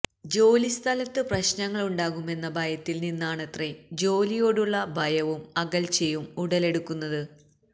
ജോലിസ്ഥലത്ത് പ്രശ്നങ്ങളുണ്ടാകുമെന്ന ഭയത്തില് നിന്നാണത്രേ ജോലിയോടുള്ള ഭയവും അകല്ച്ചയും ഉടലെടുക്കുന്നത്